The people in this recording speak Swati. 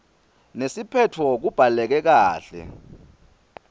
nesiphetfo kubhaleke kahle